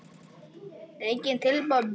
Engin tilboð bárust.